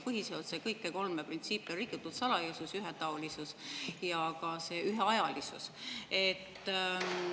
Põhiseaduse kõiki kolme printsiipi on rikutud: salajasus, ühetaolisus ja ka see üheajalisus.